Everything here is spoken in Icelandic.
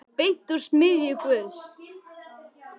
Beint úr smiðju Guðs.